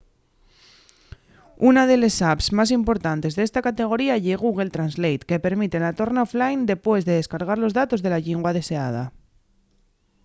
una de les apps más importantes d’esta categoría ye google translate que permite la torna offline depués de descargar los datos de la llingua deseada